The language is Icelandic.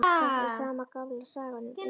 Það er sama gamla sagan, um ilm